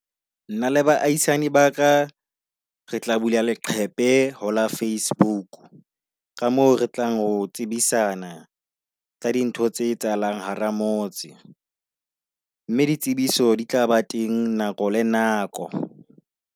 Nna le baahisane ba ka re tla bula leqephe hola Facebook ka moo re tlang ho tsebisana ka dintho tse etsahalang hara motse. Mme ditsebiso di tlaba teng nako le nako.